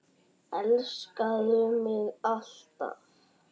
Elskaðu mig alt af.